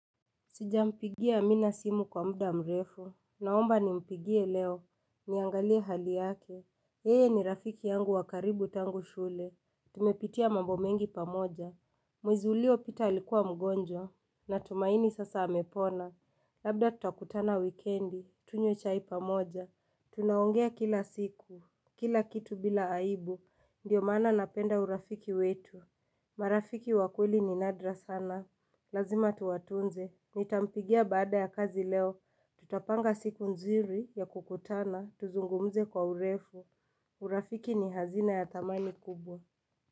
Sijampigia amina simu kwa mda mrefu, naomba ni mpigie leo, niangalie hali yake, yeye ni rafiki yangu wakaribu tangu shule, tumepitia mambo mengi pamoja, mwezi ulio pita alikuwa mgonjwa, natumaini sasa amepona, labda tutakutana wikendi, tunywe chai pamoja, tunaongea kila siku, kila kitu bila aibu, ndio maana napenda urafiki wetu, marafiki wakweli ni nadra sana, lazima tuwa tunze, Nitampigia baada ya kazi leo, tutapanga siku nzuri ya kukutana, tuzungumze kwa urefu urafiki ni hazina ya thamani kubwa.